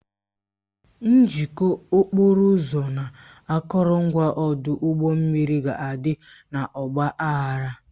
Njikọ okporo ụzọ na akụrụngwa ọdụ ụgbọ mmiri ga-adị n'ọgba aghara